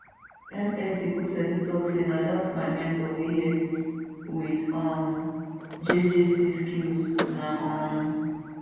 ms ikuseedun tok say na dat my mentor wey help me wit um jjc skillz na um